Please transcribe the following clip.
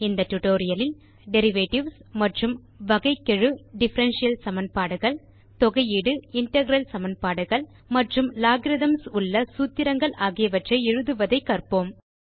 இந்த டியூட்டோரியல் லில் டெரிவேட்டிவ்ஸ் மற்றும் வகைக்கெழு Differential - சமன்பாடுகள் தொகையீடு இன்டெக்ரல் சமன்பாடுகள் மற்றும் Logarithmகள் உள்ள சூத்திரங்கள் ஆகியவற்றை எழுதுவதை கற்போம்